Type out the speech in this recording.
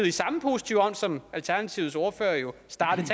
i samme positive ånd som alternativets ordfører jo startede